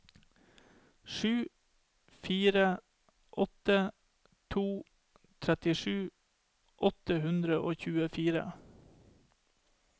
sju fire åtte to trettisju åtte hundre og tjuefire